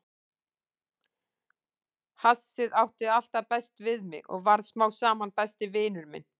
Hassið átti alltaf best við mig og varð smám saman besti vinur minn.